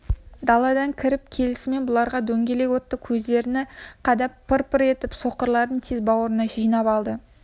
даладан кіріп келісімен бұларға дөңгелек отты көздерін қадап пыр-пыр етіп соқырларын тез бауырына жинап алады